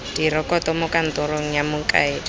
direkoto mo kantorong ya mokaedi